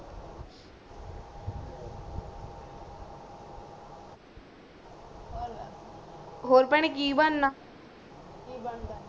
ਕਿ ਬਣਦਾ ਆ ਔਰ ਭੈਣੇ ਕਿ ਬਣਾ ਆ